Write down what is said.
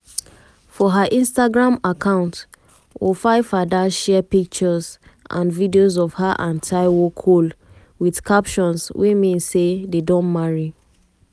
for her instagram account wofaifada share pictures and videos of her and taiwo cole wit captions wey mean say dem don marry.